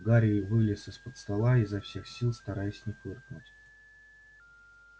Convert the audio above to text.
гарри вылез из-под стола изо всех сил стараясь не фыркнуть